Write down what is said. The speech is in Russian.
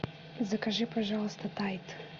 закажи пожалуйста тайд